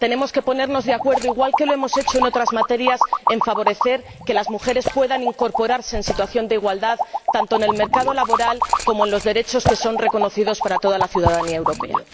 Tenemos que ponernos de acuerdo, igual que lo hemos hecho en otras materias, para favorecer que las mujeres puedan estar en situación de igualdad, tanto en el mercado laboral como en materia de derechos reconocidos para toda la ciudadanía europea.